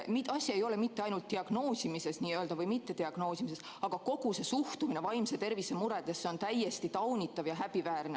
Asi ei ole mitte ainult diagnoosimises n-ö või mittediagnoosimises, vaid kogu see suhtumine vaimse tervise muredesse on täiesti taunitav ja häbiväärne.